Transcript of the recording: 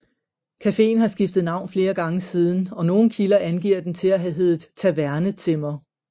Cafeen har skiftet navn flere gange siden og nogle kilder angiver den til at have heddet Taverne Zimmer